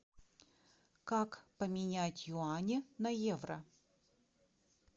как поменять юани на евро